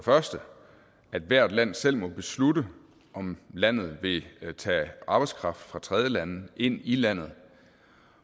første hvert land selv må beslutte om landet vil tage arbejdskraft fra tredjelande ind i landet